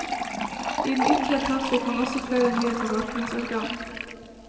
I den ytre etat fikk man også flere nye forvaltningsorgan.